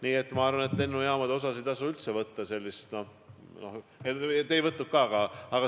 Nii et ma arvan, et lennujaamade ohtu ei tasu üldse võtta kergelt.